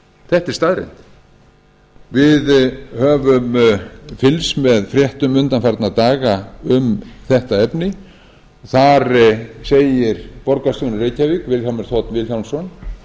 þetta er staðreynd við höfum fylgst með fréttum undanfarna daga um þetta efni þar segir borgarstjórinn í reykjavík vilhjálmur þ vilhjálmsson